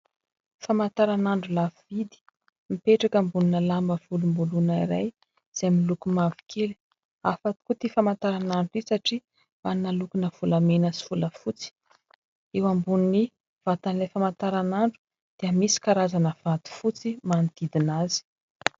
Famantaranandro lafo vidy, mipetraka ambonina lamba volomboloina iray izay miloko mavokely. Hafa tokoa ity famantaranandro ity satria manome lokona volamena sy volafotsy. Eo ambonin'ny vatan'ilay famantaranandro dia misy karazana vato fotsy manodidina azy.